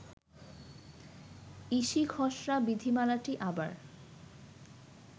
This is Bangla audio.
ইসি খসড়া বিধিমালাটি আবার